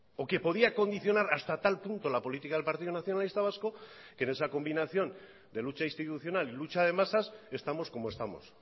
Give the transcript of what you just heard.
o que podía condicionar hasta tal punto la política del partido nacionalista vasco que en esa combinación de lucha institucional y lucha de masas estamos como estamos